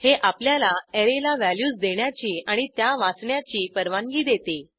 हे आपल्याला अॅरेला व्हॅल्यूज देण्याची आणि त्या वाचण्याची परवानगी देते